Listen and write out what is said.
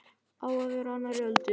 Að vera á annarri öldu